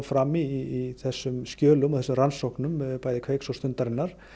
fram í þessum skjölum þessum rannsóknum bæði Kveiks og Stundarinnar